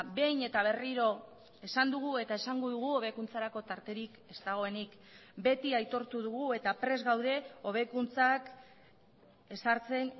behin eta berriro esan dugu eta esango dugu hobekuntzarako tarterik ez dagoenik beti aitortu dugu eta prest gaude hobekuntzak ezartzen